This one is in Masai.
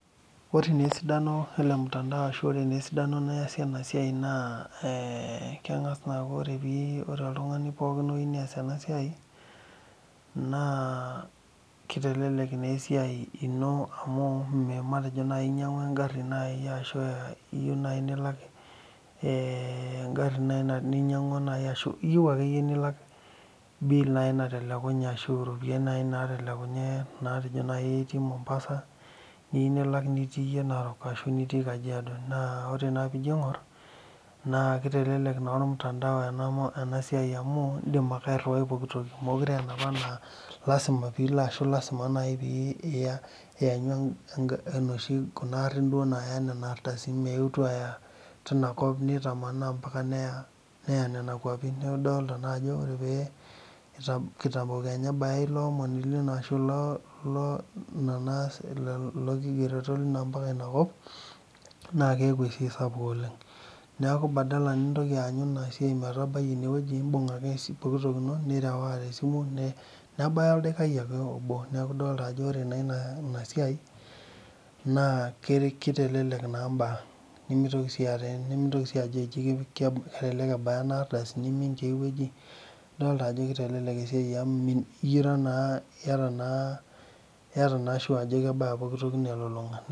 Ore naa esidano ele mtandao ashu ore naa esidano niasie ena siai naa ee keng'a s naa aaku ore pii ore oltung'ani pookin oyiu nees ena siai naa kitelelek naa esiai ino amu matejo nai inyang'ua eng'ari nai ashu iyiu nai nilak ee eng'ari nai na ninyang'ua ashu iyiu ake yie nilak bill nai natelekunye ashu iropiani nai naatelekunye naa pii ijo nai itii Mombasa niyiu nilak nitii iyie Narok ashu nitii Kajiado naa ore naa piijo iing'or naa kitelelek naa ormutandao ena ena siai amu iindim ake airiwai pooki toki mekure ena naa lazima pilo ashu lazima nai piiiya iyanyu eng'a inoshi kuna arin duo naaya nena ardasini meetu aaya tina kop nitamanaa mpaka neya neya nena kuapin. Neeku idolta naa ajo ore pee kita kitambo kenya ebaya ilo omoni lino ashu lo lo lo le naas lelo kigereto lino mpaka ina kop naake eeku esia sapuk oleng'. Neeku badala nintoki aanyu ina siai metabai ine wueji, iimbung' ake poki toki ino nirewaa te simu nebaya oldaikai ake obo, neeku idolta ajo ore naa ina ina siai naa kitelelek naa mbaa nemitoki sii aata nemintoki sii ajo jii ke kelelek ebaya ena ardasi nemimin tiai wueji. adolta ajo kitelelek esiai amu mi ira naa iyata naa iyata naa sure ajo kebaya poki toki ino elulung'a.